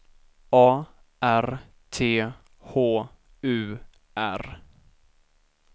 A R T H U R